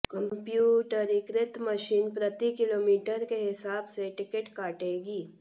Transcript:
कम्प्यूटरीकृत मशीन प्रति किलोमीटर के हिसाब से टिकट काटेंगी